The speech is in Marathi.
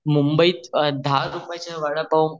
मुंबईत दहा रुप्याच वडा पाव